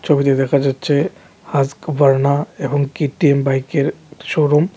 ছবিতে দেখা যাচ্ছে হাস্কবার্ণা এবং কে_টি_এম বাইকের শোরুম ।